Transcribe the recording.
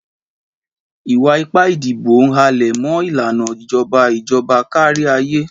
Ìwà ipá ìdìbò ń halẹ̀ mọ́ ìlànà ìjọba ìjọba kárí ayé.